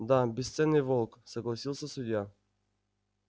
да бесценный волк согласился судья